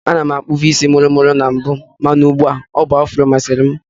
Ana m akpụbu isi mụrụ mụrụ na mbụ mana ụgbu a, ọ bụ afro masịrị m